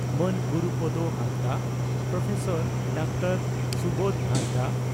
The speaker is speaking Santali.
ᱢᱟᱱ ᱜᱩᱨᱩᱯᱚᱫᱚ ᱦᱟᱸᱥᱫᱟᱜ ᱯᱨᱚᱯᱷᱮᱥᱟᱨ ᱰᱨᱹ ᱥᱩᱵᱚᱫᱷ ᱦᱟᱸᱥᱫᱟᱜ